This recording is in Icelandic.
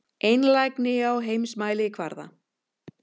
Einlægni á heimsmælikvarða.